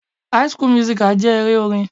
High school musical jẹ́ eré orin.